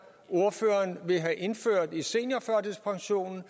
ordføreren vil have indført i seniorførtidspensionen